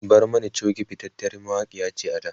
Barmani Choge fitaciyar mawakiya ce a da